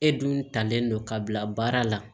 E dun talen don ka bila baara la